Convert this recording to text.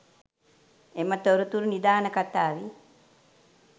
එම තොරතුරු නිදාන කථාවේ